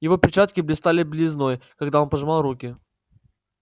его перчатки блистали белизной когда он пожимал руки